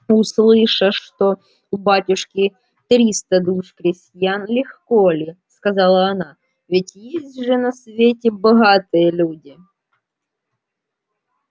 услыша что у батюшки триста душ крестьян легко ли сказала она ведь есть же на свете богатые люди